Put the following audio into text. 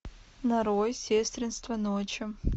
нарой сестринство ночи